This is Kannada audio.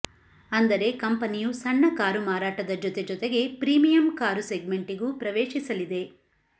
ಅಂದರೆ ಕಂಪನಿಯು ಸಣ್ಣ ಕಾರು ಮಾರಾಟದ ಜೊತೆಜೊತೆಗೆ ಪ್ರೀಮಿಯಂ ಕಾರು ಸೆಗ್ಮೆಂಟಿಗೂ ಪ್ರವೇಶಿಸಲಿದೆ